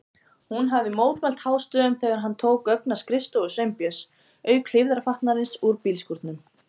Hún hafði mótmælt hástöfum þegar hann tók gögn af skrifstofu Sveinbjörns, auk hlífðarfatnaðarins úr bílskúrnum.